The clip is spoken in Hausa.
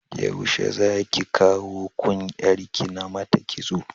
Yaushe zaki kawo kun yar ki namata kitso?